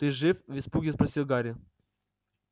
ты жив в испуге спросил гарри